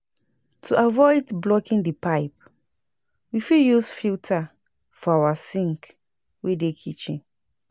To avoid blocking di pipe we fit use filter for our sink wey dey kitchen